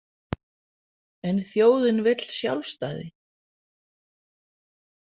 En þjóðin vill sjálfstæði.